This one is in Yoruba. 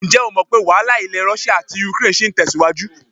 Ǹjẹ́ o mọ̀ pé́ wàhálà ilẹ̀ Rọ́ṣíà àti ukraine ṣì ń tẹ̀síwájú?